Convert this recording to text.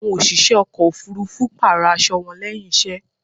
Àwọn òṣìṣẹ́ ọkò òfurufú pààrò aṣo wọn lẹ́hìn iṣẹ́.